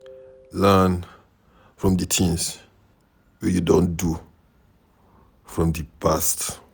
Learn from di things wey you don do for di past